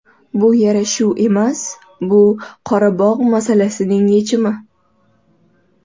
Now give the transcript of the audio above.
Bu yarashuv emas, bu Qorabog‘ masalasining yechimi.